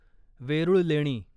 वेरुळ लेणी